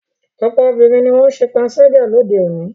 Ọ̀pọ̀ obìnrin ni wọ́n ń ṣe panṣágà lóde òní.